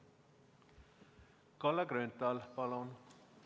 Kalle Grünthal, palun!